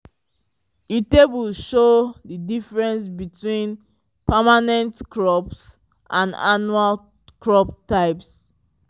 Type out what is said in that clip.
di table show di difference between permanent crops and annual crop types